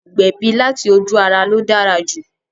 Ìgbẹ̀bí láti ojú-ara ló dára jù